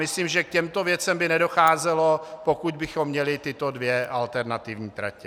Myslím, že k těmto věcem by nedocházelo, pokud bychom měli tyto dvě alternativní tratě.